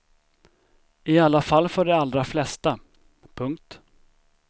I alla fall för de allra flesta. punkt